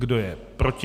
Kdo je proti?